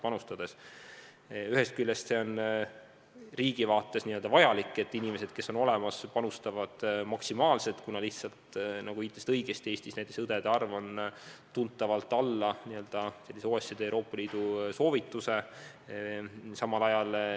Ühest küljest on riigi vaates vajalik, et olemasolevad inimesed panustavad maksimaalselt, kuna, nagu te õigesti viitasite, Eestis on näiteks õdede arv tunduvalt alla OECD ja Euroopa Liidu soovituse.